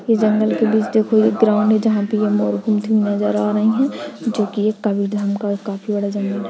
यह जंगल के बीच देखो एक ग्राउंड है जहाँ पे यह मोर घूमती हुई नजर आ रही है जोकि एक काफी ढंग का काफी बड़ा जंगल हैं।